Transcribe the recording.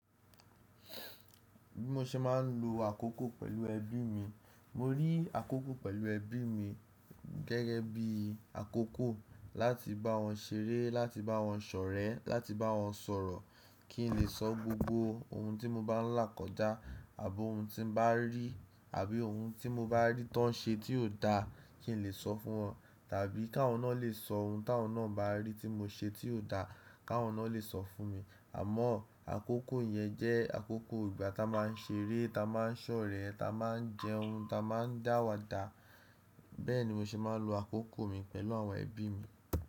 Bí mo ṣe máà ń lo àkókò pẹ̀lú ẹbí mi, mo rí àkókò pẹ̀lú ẹbí mi gẹ́gẹ́ bí i àkókò láti bá wọn ṣeré, láti bá wọn ṣe ọ̀rẹ́, láti bá wọn sọ̀ orọ̀, kí n lè sọ gbogbo ohun tí mo bá ń là kọjá, àbi ohun tí n bá rí, àbí ohun tí mo bá rí tí wọ́n ṣe tí ò da kí n lè sọ fún wọn. Tàbí kí awọ́n náà lè sọ ohun tí awọ́n náà bá rí tí mo ṣe tí ò da, kí awọ́n náà lè sọ fún mi. Àmọ́ àkókò yẹn jẹ́ àkókò ìgbà ti á máà ń ṣeré, ti á máà ń ṣe ọ̀rẹ́, ti a máà ń jẹun, ti á máà ń da áwadà. Bẹ́ẹ̀ ni mo ṣe máà ń lo àkókò mi pẹ̀lú àwọn ẹbí mi.